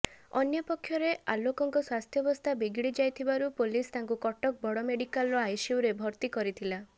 ଅନ୍ୟପକ୍ଷରେ ଆଲୋକଙ୍କ ସ୍ୱାସ୍ଥ୍ୟବସ୍ଥା ବିଗିଡି ଯାଇଥିବାରୁ ପୋଲିସ ତାଙ୍କୁ କଟକ ବଡ ମେଡିକାଲର ଆଇସିୟୁରେ ଭର୍ତ୍ତି କରିଥିଲା